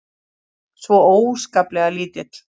Svo óskaplega lítill.